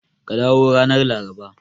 Ka dawo ranar Laraba.